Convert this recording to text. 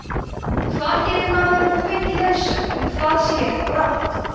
hvar getur maðurinn þá fengið leiðsögn um hvað sé rétt og rangt